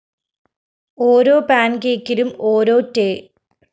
ഓരോ പാന്‍കേക്കിലും ഓരോ ടേ